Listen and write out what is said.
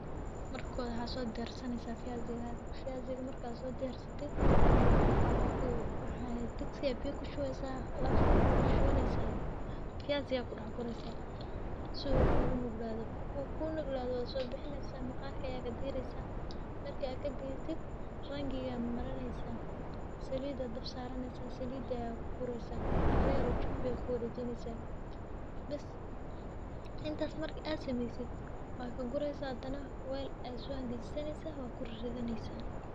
Marka hore waxaa sodiyarsaneysaah fiyasigada, fiyasiga marka sodiyarsatid waxaa ku, digsi aa biya kushubeysaah waxaa kushubaneysaah fiyasiga aa kudax guraneysaah si uu kugunuglado . Marku kunuglado wasobixineysaah maqarkaa aa kadireysaah marka kadirtid rangiga aa marineysaah salida aa dab saraneysaah aa kugureysaah. Hala yar oo chumbi aa kudareysaah , intas marki ad sameysid wad kagureysaah hadana wel aa so engejisanyesaah wakuriradeyneysaah .